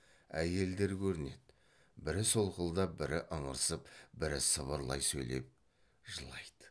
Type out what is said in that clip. әйелдер көрінеді бірі солқылдап бірі ыңырсып бірі сыбырлай сөйлеп жылайды